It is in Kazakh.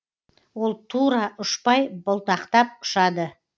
ол тура ұшпай бұлтақтап ұшады